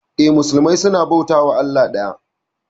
Eh, musulmai suna bautawa allah daya.